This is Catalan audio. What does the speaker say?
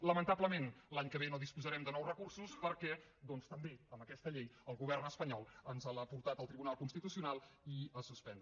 lamentablement l’any que ve no disposarem de nous recursos perquè doncs també aquesta llei el govern espanyol ens l’ha portat al tribunal constitucional i l’ha suspès